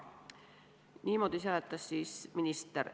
Niimoodi seletas minister.